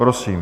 Prosím.